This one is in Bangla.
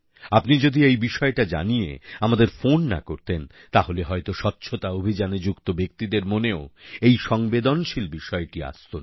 আপনি যদি এই বিষয়টা জানিয়ে আমাদের ফোন না করতেন তাহলে হয়তো স্বচ্ছতা অভিযানে যুক্ত ব্যক্তিদের মনেও এই সংবেদনশীল বিষয়টি আসত না